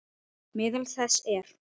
Meðal þess er